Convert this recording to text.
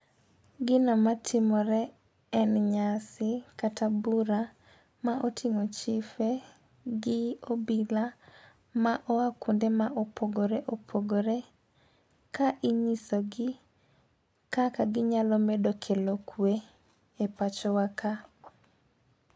Gino matimore en nyasi kata bura ma oting'o chife gi obila ma oa kuonde ma opogore opogore ka inyiso gi kaka ginyalo medo kelo kwe e pacho wa ka.